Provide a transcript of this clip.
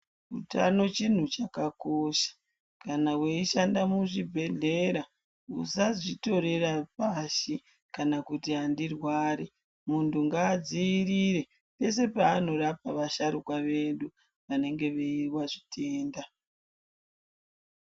Utano chinhu chakakosha ,kana uchishanda kuzvibhehlera musazvitorera pasi, kana kuti handirwari, muntu ngaadziirire peshe panorapa asharuka vedu vanenge vanezvitenda.